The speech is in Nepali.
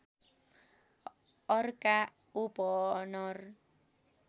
अर्का ओपनर